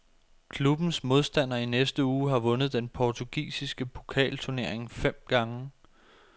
Klubbens modstander i næste uge har vundet den portugisiske pokalturnering fem gange.